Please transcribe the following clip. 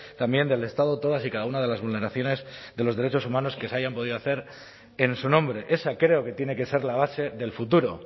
también del estado todas y cada una de las vulneraciones de los derechos humanos que se hayan podido hacer en su nombre esa creo que tiene que ser la base del futuro